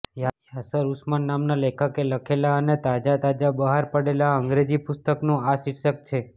યાસર ઉસ્માન નામના લેખકે લખેલા અને તાજા તાજા બહાર પડેલા અંગ્રેજી પુસ્તકનું આ શીર્ષક છે